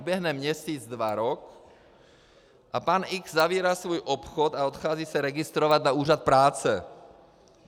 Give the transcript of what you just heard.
Uběhne měsíc, dva, rok, a pan X zavírá svůj obchod a odchází se registrovat na úřad práce.